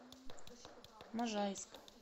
можайск